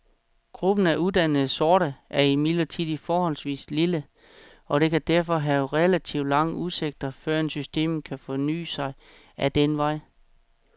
Gruppen af uddannede sorte er imidlertid forholdsvis lille, og det kan derfor have relativt lange udsigter førend systemet kan forny sig ad den vej.